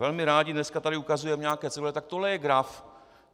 Velmi rádi dneska tady ukazujeme nějaké cedule, tak tohle je graf.